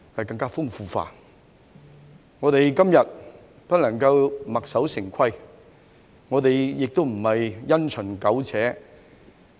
今天，我們不能墨守成規，我們亦不能因循苟且。